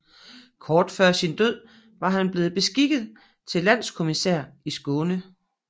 Kort før sin død var han blevet beskikket til landkommissær i Skåne